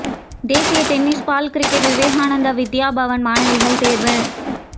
தேசிய tennis ball cricket Vivekananda Vidya Bhavan மாணவிகள் தேர்வு